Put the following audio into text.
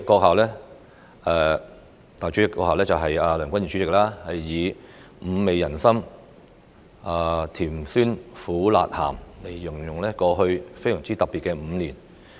數天前，梁君彥主席以五味人生來形容過去非常特別的5年。